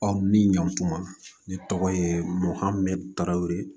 min ɲan kuma ne tɔgɔ ye mohamɛdu tarawere